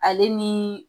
Ale ni